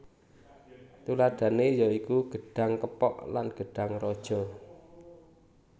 Tuladhané ya iku gedhang kepok lan gedhang raja